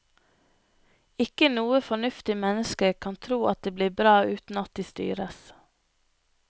Ikke noe fornuftig menneske kan tro at det blir bra uten at det styres.